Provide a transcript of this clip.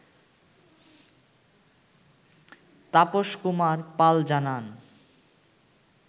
তাপস কুমার পাল জানান